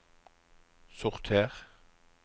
sorter